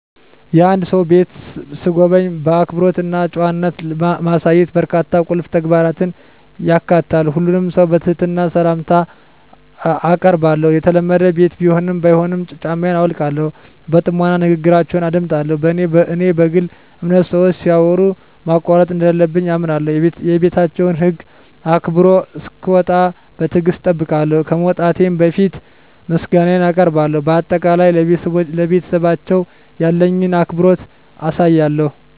የአንድን ሰው ቤት ስጎበኝ፣ አክብሮት እና ጨዋነት ማሳየት በርካታ ቁልፍ ተግባራትን ያካትታል። ሁሉንም ሰው በትህትና ሰላምታ አአቀርባለሁ፣ የተለመደ ቤት ቢሆንም ባይሆንም ጫማየን አውልቃለሁ። በጥሞና ንግግራችውን አደምጣለሁ፣ በኔ በግል አምነት ሰወች ሲያወሩ ማቋረጥ እንደለለብኝ አምነለሁ። የቤታቸውን ህግ አክብሮ እሰክወጣ በትግሰት እጠብቃለሁ፣ ከመውጣቴ በፈት ምሰጋነየን አቀርባለሁ በአጠቃላይ፣ ለቤተሰባቸው ያለኝን አክብሮት አሳያለሁ።